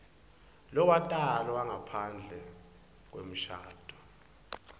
lowatalwa ngaphandle kwemshado